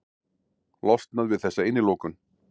Losnað við þessa innilokun.